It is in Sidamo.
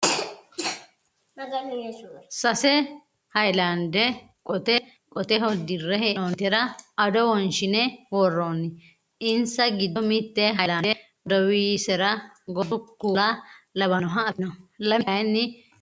Sase haayilaande qote qoteho dirre hee'noonnitera ado wonshine worroonni. Insa giddo mitte haayilaande godowisera gordu kuula lawannoha afidhino lame kaayinni diafidhino.